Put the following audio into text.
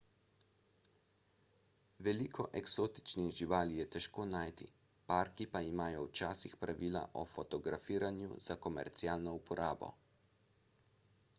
veliko eksotičnih živali je težko najti parki pa imajo včasih pravila o fotografiranju za komercialno uporabo